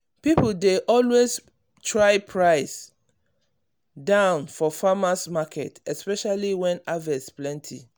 people dey always try price down for farmers’ market especially when harvest plenty.